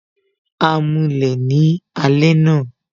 A mulẹ̀ ni alẹ́ àná